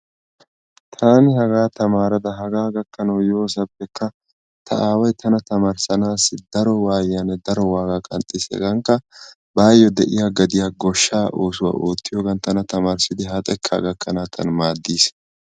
Tani hagaa tamaarada hagaa gakkanawu yoosappekka ta aaway tana tamaarissanassi daro waayiyane daro waaga qanxxiis. Hegaankka bayo de'iya gadiya goshsha oosuwaa oottiyogan tana tamarssidi ha xeekka gakkanawu tana maadiis.